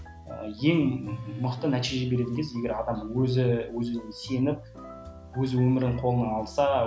ең мықты нәтиже береді екен егер адам өзі өзі өзіне сеніп өз өмірін қолына алса